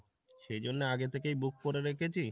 সেই জন্যে আগে থেকেই book করে রেখেছি,